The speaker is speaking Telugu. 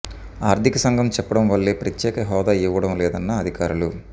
ఆర్థిక సంఘం చెప్పడం వల్లే ప్రత్యేక హోదా ఇవ్వడం లేదన్న అధికారులు